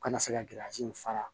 Kana se ka in fara